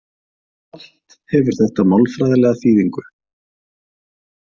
Allt hefur þetta málfræðilega þýðingu.